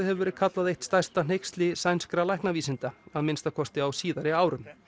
hefur verið kallað eitt stærsta hneyksli sænskra læknavísinda að minnsta kosti á síðari árum